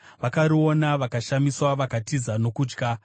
vakariona vakashamiswa; vakatiza nokutya.